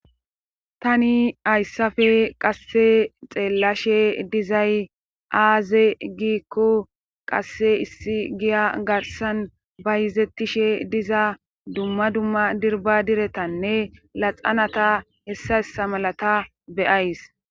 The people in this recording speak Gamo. tani hayssape qase xeellashe dizay aaze giikko qase issi giya garsan bayzettishe diza duma duma dirba diretanne laxanata hessayssa malata beyayis.